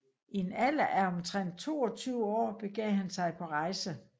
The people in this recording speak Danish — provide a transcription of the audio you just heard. I en alder af omtrent 22 år begav han sig på rejser